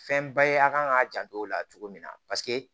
Fɛnba ye a kan k'a janto o la cogo min na